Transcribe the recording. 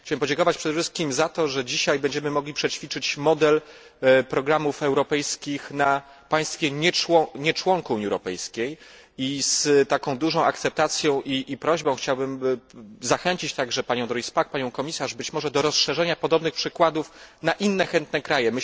Chciałem podziękować przede wszystkim za to, że dzisiaj będziemy mogli przećwiczyć model programów europejskich na państwie, które nie jest członkiem Unii Europejskiej i z taką dużą akceptacją i prośbą chciałbym zachęcić także panią Doris Pack i panią Komisarz być może do rozszerzenia podobnych przykładów na inne chętne kraje.